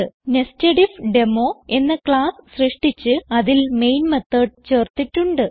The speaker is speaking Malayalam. നെസ്റ്റഡിഫ്ഡെമോ എന്ന ക്ലാസ്സ് സൃഷ്ടിച്ച് അതിൽ മെയിൻ മെത്തോട് ചേർത്തിട്ടുണ്ട്